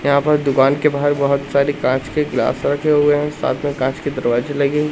यहां पर दुकान के बाहर बहुत सारी कांच के ग्लास रखे हुए हैं साथ में कांच के दरवाजे लगे हुए।--